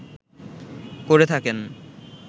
করে থাকেন